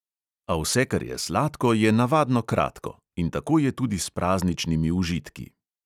A vse, kar je sladko, je navadno kratko in tako je tudi s prazničnimi užitki.